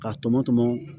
K'a tɔmɔ tɔmɔ